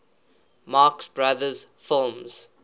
marx brothers films